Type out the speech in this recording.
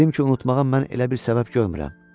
Dedim ki, unutmağa mən elə bir səbəb görmürəm.